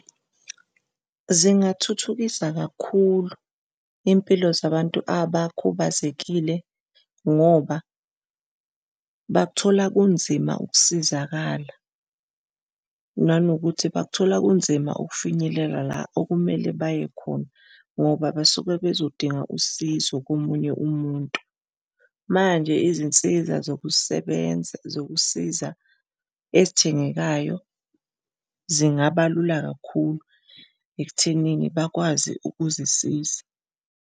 Zingathuthukisa kakhulu izimpilo zabantu abakhubazekile ngoba bakuthola kunzima ukusizakala nanokuthi bakuthola kunzima ukufinyelela la okumele baye khona ngoba basuke bezodinga usizo komunye umuntu. Manje izinsiza zokusebenza zokusiza ezithengekayo zingaba lula kakhulu ekuthenini bakwazi ukuzisiza.